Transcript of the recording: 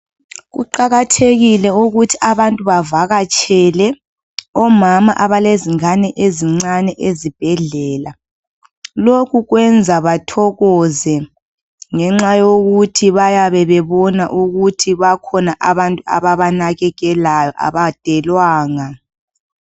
Kuqakathekile ukuthi abantu bavakatshele omama abalezingane ezincane ezibhedlela lokhe kwenza bathokoze ngenxa yokuthi bayabe babona ukuthi kulabantu ababanakekelayo abadewlanga.